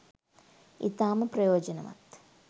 ඉතාම ප්‍රයෝජනවත්.